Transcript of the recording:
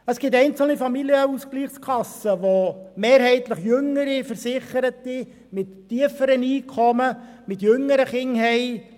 Es gibt einzelne Familienausgleichskassen, welche mehrheitlich jüngere Versicherte mit tieferen Einkommen und jüngeren Kindern haben.